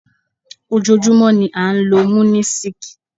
Ojoojúmọ́ ni a ń lo Munisik.